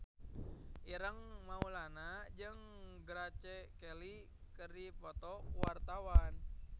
Ireng Maulana jeung Grace Kelly keur dipoto ku wartawan